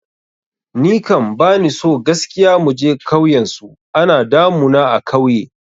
Ni kam bani so gaskiya muje kauyen su, ana damu na a kauye